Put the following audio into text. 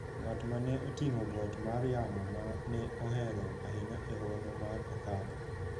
ng’at ma ne oting’o got mar yamo ma ne ohero ahinya e Hoho mar Okak